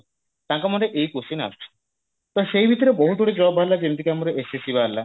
ତାଙ୍କ ମନରେ ଏଇ question ଆସୁଛି ତ ସେଇ ଭିତରେ ବହୁତ ଗୁଡେ job ବାହାରିଲା ଯେମିତି ଆମର SSC ବାହାରିଲା